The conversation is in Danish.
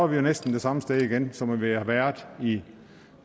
vi jo næsten det samme sted igen som vi har været i